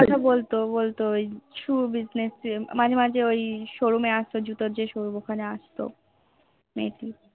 কথা বলতো বলতো ওই Shoe business নিয়ে মাঝে মাঝে ওই Showroom এ আস্ত জুতোর যে showroom ওখানে আস্ত মেয়েটি